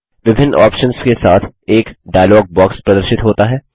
विभिन्न ऑप्शन्स के साथ एक डायलॉग बॉक्स प्रदर्शित होता है